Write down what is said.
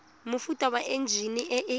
mofuta wa enjine e e